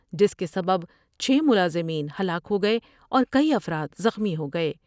جس کے سبب چھ ملازمین ہلاک ہو گئے اور کئی افراد زخمی ہو گئے ۔